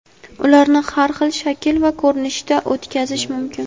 Ularni har xil shakl va ko‘rinishda o‘tkazish mumkin.